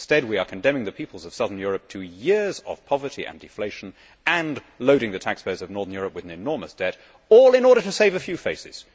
Instead, we are condemning the peoples of southern Europe to years of poverty and deflation and loading the taxpayers of northern Europe with an enormous debt, all in order to save a few faces.